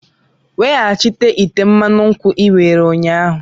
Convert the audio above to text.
Wetaghachi ite mmanụ nkwu i were ụnyahụ!